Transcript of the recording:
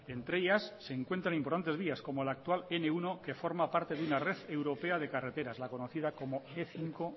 entre ellas se encuentran importantes vías como la actual ene uno que forma parte de una red europea de carreteras la conocida como e cinco